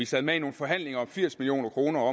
sad med i nogle forhandlinger om hvordan firs million kroner